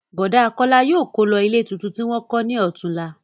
Bọ̀dá Kọ́lá yóò kó lọ ilé tuntun tí wọ́n kọ́ ní ọ̀túnla